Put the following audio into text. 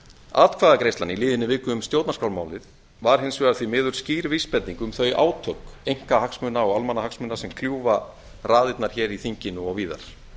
atkvæðagreiðslan í liðinni viku um stjórnarskrármálið var hins vegar því miður skýr vísbending um þau átök einkahagsmuna og almannahagsmuna sem kljúfa raðirnar hér í þinginu og víðar